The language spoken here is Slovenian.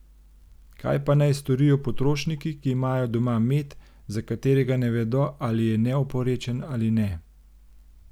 Kaj pa naj storijo potrošniki, ki imajo doma med, za katerega ne vedo ali je neoporečen ali ne?